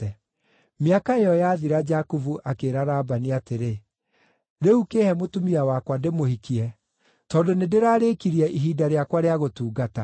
Mĩaka ĩyo yathira Jakubu akĩĩra Labani atĩrĩ, “Rĩu kĩĩhe mũtumia wakwa ndĩmũhikie, tondũ nĩndĩrarĩkirie ihinda rĩakwa rĩa gũtungata.”